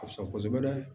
Ka fisa kosɛbɛ dɛ